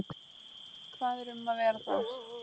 Hvað er um að vera þar?